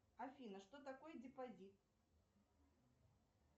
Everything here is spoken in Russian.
афина что такое депозит